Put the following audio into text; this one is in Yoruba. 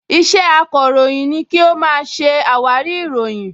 Iṣẹ́ akọ̀ròyìn ni kí ó máa ṣe àwárí ìròyìn